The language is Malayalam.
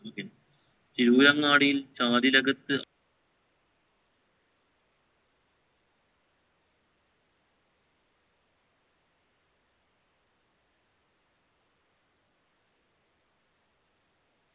തിരുരങ്ങാടിയിൽ അകത്തു